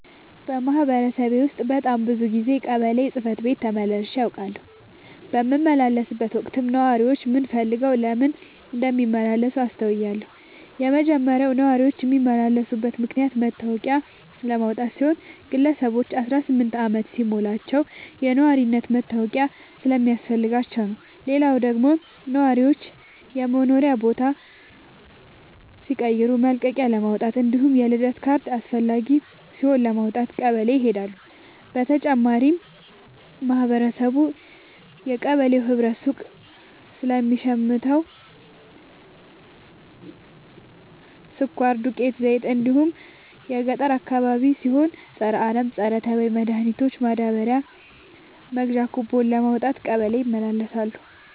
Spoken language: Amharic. በማህበረሰቤ ውስጥ በጣም ብዙ ጊዜ ቀበሌ ጽህፈት ቤት ተመላልሼ አውቃለሁ። በምመላለስበትም ወቅት ነዋሪዎች ምን ፈልገው ለምን እንደሚመላለሱ አስተውያለሁ የመጀመሪያው ነዋሪዎች የሚመላለሱበት ምክንያት መታወቂያ ለማውጣት ሲሆን ግለሰቦች አስራስምንት አመት ሲሞላቸው የነዋሪነት መታወቂያ ስለሚያስፈልጋቸው ነው። ሌላው ደግሞ ነዋሪዎች የመኖሪያ ቦታ ሲቀይሩ መልቀቂያለማውጣት እንዲሁም የልደት ካርድ አስፈላጊ ሲሆን ለማውጣት ቀበሌ ይሄዳሉ። በተጨማሪም ማህበረቡ የቀበሌው ህብረት ሱቅ ለሚሸተው ስኳር፣ ዱቄት፣ ዘይት እንዲሁም ገጠር አካባቢ ሲሆን የፀረ አረም፣ ፀረተባይ መድሀኒት ማዳበሪያ መግዣ ኩቦን ለማውጣት ቀበሌ ይመላለሳሉ።